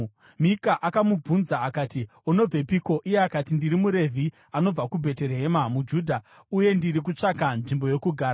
Mika akamubvunza akati, “Unobvepiko?” Iye akati, “Ndiri muRevhi anobva kuBheterehema muJudha, uye ndiri kutsvaka nzvimbo yokugara.”